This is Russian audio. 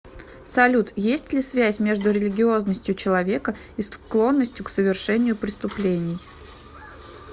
салют есть ли связь между религиозностью человека и склонностью к совершению преступлений